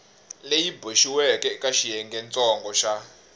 leyi boxiweke eka xiyengentsongo xa